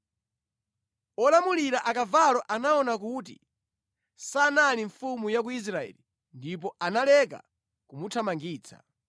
olamulira akavalo anaona kuti sanali mfumu ya ku Israeli ndipo analeka kumuthamangitsa.